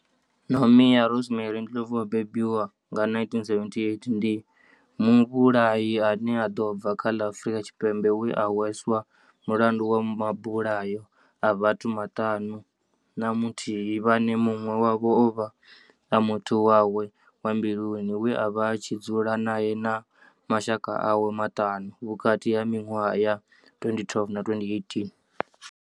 Nomia Rosemary Ndlovu o bebiwaho nga 1978 ndi muvhulahi a no bva kha ḽa Afurika Tshipembe we a hweswa mulandu wa mabulayo a vhathu vhaṱanu na muthihi vhane munwe wavho ovha a muthu wawe wa mbiluni we avha a tshi dzula nae na mashaka awe maṱanu vhukati ha minwaha ya 2012 na 2018.